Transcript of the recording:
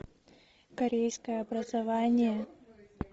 корейское образование